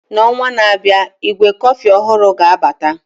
N'ọnwa na-abịa, ígwè kọfị ọhụrụ ga-abata